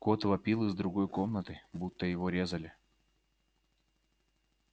кот вопил из другой комнаты будто его резали